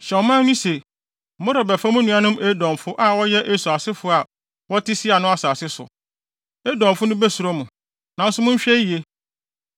Hyɛ ɔman no se, ‘Morebɛfa mo nuanom Edomfo, a wɔyɛ Esau asefo a wɔte Seir no asase so. Edomfo no besuro mo, nanso monhwɛ yiye.